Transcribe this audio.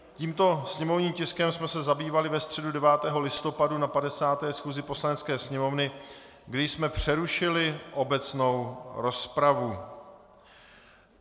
Tímto sněmovním tiskem jsme se zabývali ve středu 9. listopadu na 50. schůzi Poslanecké sněmovny, kdy jsme přerušili obecnou rozpravu.